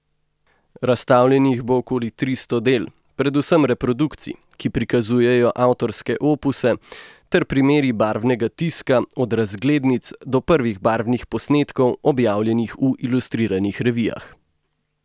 Razstavljenih bo okoli tristo del, predvsem reprodukcij, ki prikazujejo avtorske opuse, ter primeri barvnega tiska od razglednic do prvih barvnih posnetkov, objavljenih v ilustriranih revijah.